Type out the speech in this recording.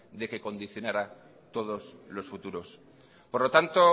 de que condicionará todos los futuros por lo tanto